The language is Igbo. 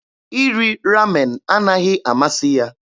Iri Ramen anaghị amasị ya.